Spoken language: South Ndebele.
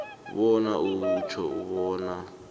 bona utjho bona